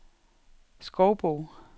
Skovbo